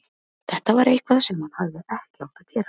Þetta var eitthvað sem hann hefði ekki átt að gera.